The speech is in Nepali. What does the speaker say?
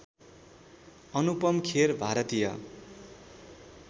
अनुपम खेर भारतीय